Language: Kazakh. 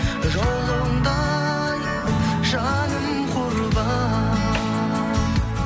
жолыңда ай жаным құрбан